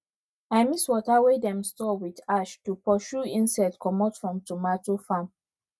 i mix water wey dem store with ash to pursue insects komot from tomato farm